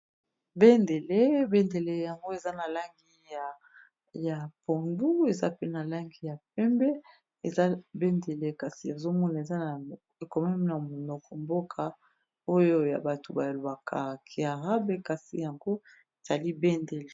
bendele bendele yango eza na langi ya pondu eza pe na langi ya pembe eza bendele kasi ezomona eza ekomami na monoko mboka oyo ya bato balobaka ki arab kasi yango ezali bendele